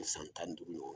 San tan ni duuru